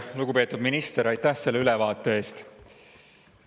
Lugupeetud minister, aitäh selle ülevaate eest!